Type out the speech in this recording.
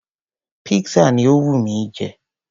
Pizza ni ó wù mí jẹ.